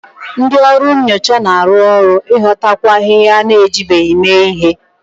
Ndị ọrụ nyocha na-arụ ọrụ n'ịghọtakwu ahịhịa a na-ejibeghị mee ihe